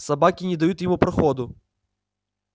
собаки не дают ему проходу